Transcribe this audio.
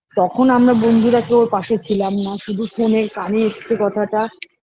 তখন আমরা বন্ধুরা কেউ ওর পাশে ছিলাম না শুধু phone -এ কানে এসছে কথাটা